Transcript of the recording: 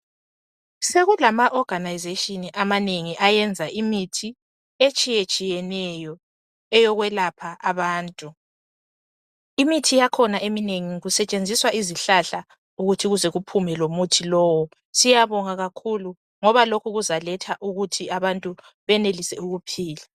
Sekulama organization amanengi ayenza imithi etshiyetshiyeneyo eyokwelapha abantu imithi yakhona eminengi kusetshenziswa izihlahla ukuthi kuze kuphume lomuthi lowo siyabonga kakhulu ngoba lokhu kuzaletha ukuthi abantu benelise ukuphila